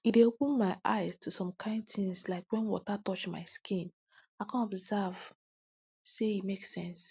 e dey open my eyes to some kain tins like when water touch my skin i come observe say e make sense